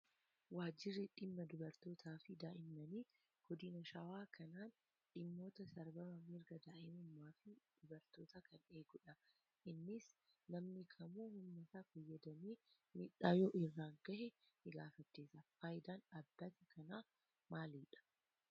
Waajirri dhimma dubartootaa fi daa'immanii Godina shawaa kaanaan dhimmoota sarbama mirga daa'imummaa fi dubartootaa kan eegudha. Innis namni kamuu humnasaa fayyadamee miidhaa yoo irraan gahee ni gaafachiisa. Fayidaan dhaabbata kanaa maalidhaa?